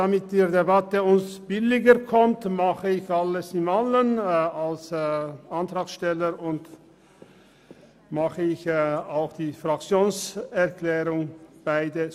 Damit uns die Debatte günstiger zu stehen kommt, spreche ich zugleich als Antragsteller und als Fraktionssprecher.